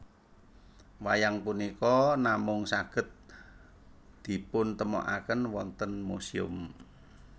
Wayang punika namung saged dipuntemokaken wonten muséum